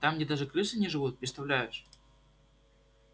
там где даже крысы не живут представляешь